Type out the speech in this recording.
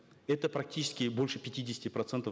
это практически больше пятидесяти процентов